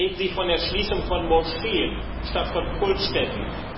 Reden Sie von der Schließung von Moscheen statt von Kultstätten!